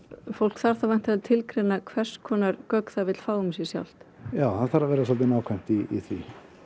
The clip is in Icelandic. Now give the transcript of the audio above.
fólk þarf þá væntalega tilgreina hvers konar gögn það vill fá um sig sjálft já það þarf að vera svolítið nákvæmt í því